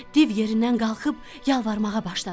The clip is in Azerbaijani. Div yerindən qalxıb yalvarmağa başladı.